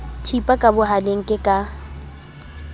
thipa ka bohaleng ke ka